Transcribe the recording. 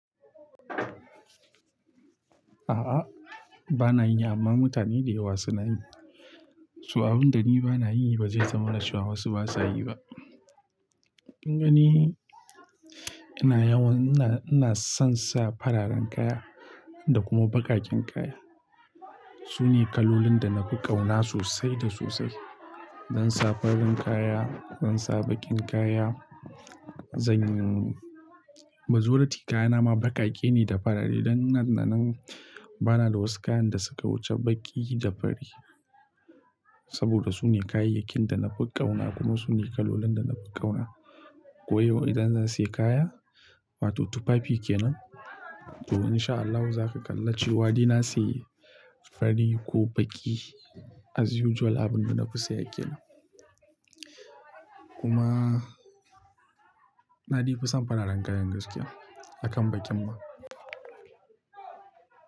A'a bana yi amma mutane da yawa suna yi. So abun da ni bana yi ba zai zama na cewa wasu ba sa yi ba. Ni ina yawan, ina, ina son sa fararen kaya da kuma baƙaƙen kaya. Su ne kalolin da na fi ƙauna sosai da sosai. Zan sa farin kaya, zan sa baƙin kaya, zanyi Majoriti kayana ma baƙaƙe ne da fari dan nan da nan bana da wasu kayan da suka wuce baƙi da fari. Saboda su ne kayayyakin da na fi ƙauna kuma su ne kalolin da na fi ƙauna. Ko yau idan zan sayi kaya, wato tufafi ke nan to in sha Allahu za ka kalla cewa dai na sayi fari ko baƙi as usual abin da na fi saye ke nan. Kuma na de fi son fararen kayan gaskiya akan baƙin ma.